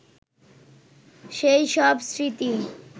সেই সব স্মৃতি